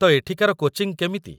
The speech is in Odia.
ତ ଏଠିକାର କୋଚିଂ କେମିତି ?